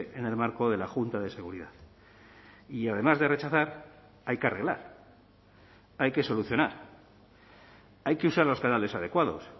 en el marco de la junta de seguridad y además de rechazar hay que arreglar hay que solucionar hay que usar los canales adecuados